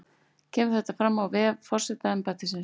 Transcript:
Kemur þetta fram á vef forsetaembættisins